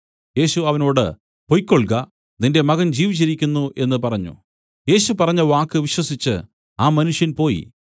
യേശു അവനോട് പൊയ്ക്കൊൾക നിന്റെ മകൻ ജീവിച്ചിരിക്കുന്നു എന്നു പറഞ്ഞു യേശു പറഞ്ഞവാക്ക് വിശ്വസിച്ചു ആ മനുഷ്യൻ പോയി